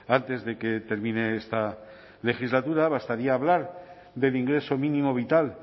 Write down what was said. antes de que termine esta legislatura bastaría hablar del ingreso mínimo vital